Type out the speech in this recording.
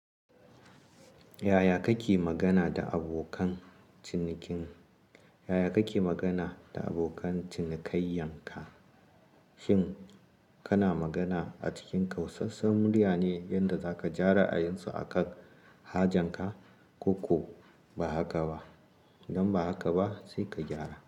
Yaya kake magana da abokan, cinikin? Yaya kake magana, da abokan cinikayyan ka? Shin, kana magana a cikin kausassan murya ne, yanda zaka ja ra'ayin su a kan, hajanka, koko ba haka ba? Idan ba haka ba, sai ka gyara.